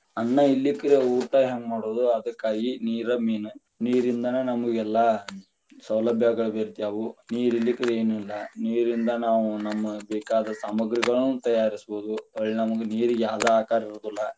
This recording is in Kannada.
ಅನ್ನಾ ಇರಲಿಕ್ಕರ ಊಟಾ ಹೆಂಗ ಮಾಡುದ, ಅದಕ್ಕಾಗಿ ನೀರ main ನೀರಿಂದನಾ ನಮಗೆಲ್ಲಾ, ಸೌಲಭ್ಯಗಳು ಬೆರ್ತ್ಯವೂ ನೀರ ಇರಲಿಕ್ಕರ ಏನು ಇಲ್ಲಾ ನೀರಿಂದ ನಾವು ನಮಗ ಬೇಕಾದ ಸಾಮಗ್ರಿಗಳನ್ನು ತಯಾರಿಸಬಹುದು, ಹೊಳ್ಳಿ ನಮಗ ನೀರಿಗೆ ಯಾವದ ಆಕಾರ ಇರುದಿಲ್ಲಾ.